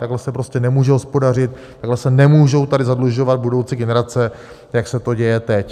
Takhle se prostě nemůže hospodařit, takhle se nemůžou tady zadlužovat budoucí generace, jak se to děje teď.